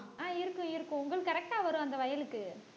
அஹ் இருக்கும் இருக்கும் உங்களுக்கு correct ஆ வரும் அந்த வயலுக்கு